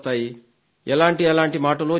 ఎలాంటెలాంటి మాటలో చెప్పాడు